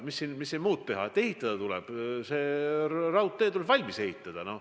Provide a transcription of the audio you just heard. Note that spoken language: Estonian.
Mis siin muud teha, kui et ehitada tuleb, see raudtee tuleb valmis ehitada.